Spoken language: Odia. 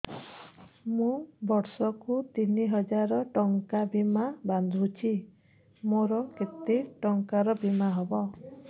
ମୁ ବର୍ଷ କୁ ତିନି ହଜାର ଟଙ୍କା ବୀମା ବାନ୍ଧୁଛି ମୋର କେତେ ଟଙ୍କାର ବୀମା ହବ